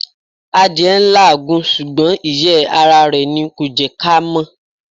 Adìẹ n làágùn sùgbón ìyẹ́ ara rè ni kò jẹ́ ká mọ́